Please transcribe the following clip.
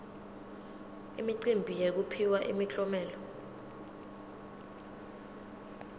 imicimbi yekuphiwa imiklomelo